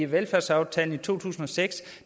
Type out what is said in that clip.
velfærdsaftalen i to tusind og seks